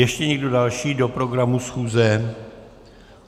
Ještě někdo další do programu schůze?